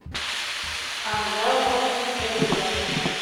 анжелкой пугиной